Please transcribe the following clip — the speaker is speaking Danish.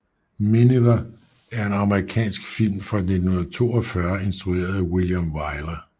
Miniver er en amerikansk film fra 1942 instrueret af William Wyler